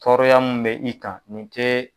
Tɔɔrɔya mun bɛ i kan nin tɛ